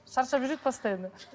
шаршап жүреді постоянно